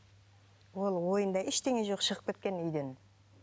ол ойында ештеңе жоқ шығып кеткен үйден